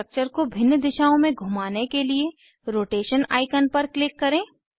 structure को भिन्न दिशाओं में घुमाने के लिए रोटेशन आईकन पर क्लिक करें